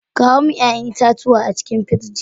Kawo min ya'yan itacuwa a cikin pirji.